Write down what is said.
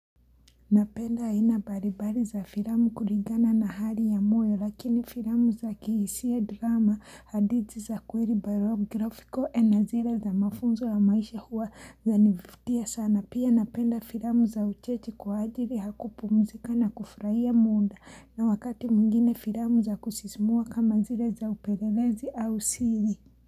Napenda haina baribari za firamu kuligana na hali ya moyo rakini firamu za kiisia drama hadithi za kweli biografiko nazire za mafunzo wa maisha huwa zanivutia sana. Pia napenda firamu za uchechi kwa ajili ya kupumzika na kufurahia munda na wakati mwingine firamu za kusismua kama zire za upelelezi au sili.